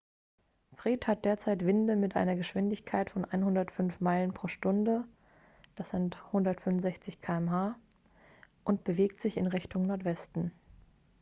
fred hat derzeit winde mit einer geschwindigkeit von 105 meilen pro stunde 165 km/h und bewegt sich in richtung nordwesten